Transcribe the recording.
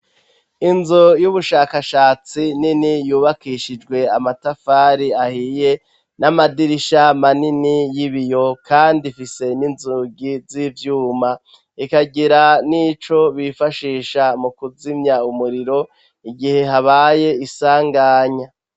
Inzu y'ubushakashatsi nini yubakishijwe amatafari ahiye n'amadirisha manini y'ibiyo kandi ifise n'inzugi z'ivyuma ikagira n'ico bifashisha mu kuzimya umuriro igihe habaye isanganya.